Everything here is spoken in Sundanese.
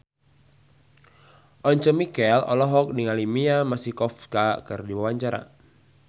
Once Mekel olohok ningali Mia Masikowska keur diwawancara